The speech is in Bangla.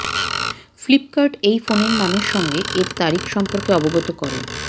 ফ্লিপ্কার্ট এই ফোনের নামের সঙ্গে এর তারিখ সম্পর্কে অবগত করে